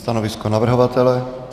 Stanovisko navrhovatele?